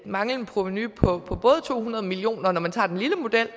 manglende provenu på to hundrede million kr både når man tager den lille model